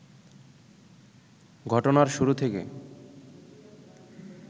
ঘটনার শুরু থেকে